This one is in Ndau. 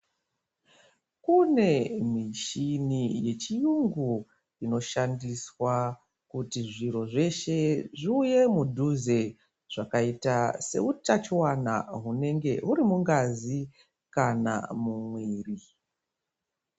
Kune michini yechiyungu inoshandiswa kuti zviro zveshe zviuye mudhuze seutachiwana hunenge huri mungazi kana mumwiri.